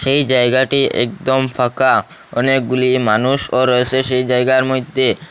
এই জায়গাটি একদম ফাঁকা অনেকগুলি মানুষও রয়েসে সেই জায়গার মইধ্যে।